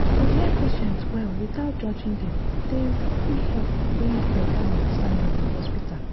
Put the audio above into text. to understand wetin patient believe true-true fit help build better talk and trust between dem and doctor.